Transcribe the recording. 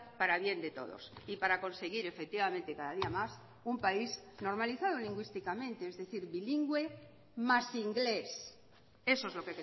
para bien de todos y para conseguir efectivamente cada día más un país normalizado lingüísticamente es decir bilingüe más inglés eso es lo